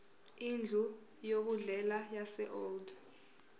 indlu yokudlela yaseold